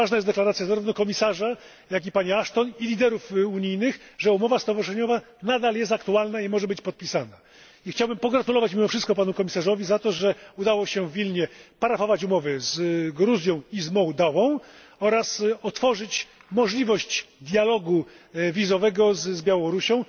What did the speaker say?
Bardzo ważna jest deklaracja zarówno komisarza, jak i pani Ashton i liderów unijnych, że umowa stowarzyszeniowa nadal jest aktualna i może być podpisana. I chciałbym pogratulować mimo wszystko Panu Komisarzowi za to, że udało się w Wilnie parafować umowy z Gruzją i z Mołdawią oraz otworzyć możliwość dialogu wizowego z Białorusią,